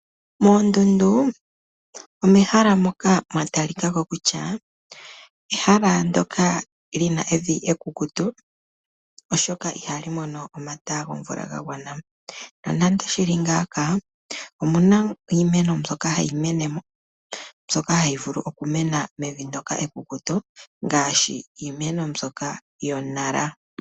Moondundu omehala moka mwa talikako kutya ehala ndyoka lina evi ekukutu oshoka ihali mono omata gomvula ga gwana, nonande shili ngaka omuna iimeno mbyoka hayi mene mo mbyoka hayi vulu okumena mevi ndyoka ekukutu ngaashi iimeno mbyoka yo nara.